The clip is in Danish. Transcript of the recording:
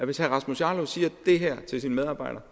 hvis herre rasmus jarlov siger det her til sine medarbejdere